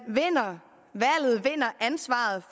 vinder ansvaret